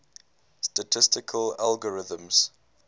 statistical algorithms